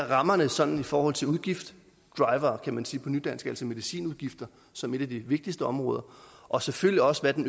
rammerne sådan i forhold til udgiftsdrivere kan man sige på nydansk altså medicinudgifter som et af de vigtigste områder og selvfølgelig også hvad den